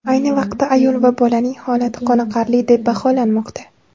Ayni vaqtda ayol va bolaning holati qoniqarli deb baholanmoqda.